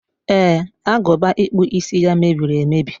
e, agụba ịkpụ isi ya mebiri emebi.